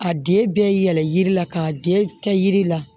A den bɛɛ yɛlɛn yiri la k'a den kɛ yiri la